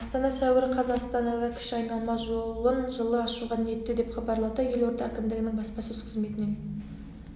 астана сәуір қаз астанада кіші айналма жолын жылы ашуға ниетті деп хабарлады елорда әкімдігінің баспасөз қызметінен